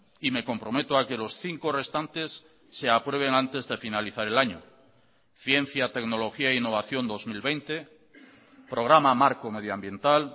y me comprometo a que los cinco restantes se aprueben antes de finalizar el año ciencia tecnología e innovación dos mil veinte programa marco medioambiental